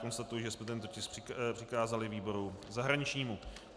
Konstatuji, že jsme tento tisk přikázali výboru zahraničnímu.